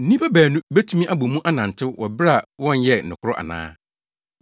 Nnipa baanu betumi abɔ mu anantew, wɔ bere a wɔnyɛɛ nokoro ana?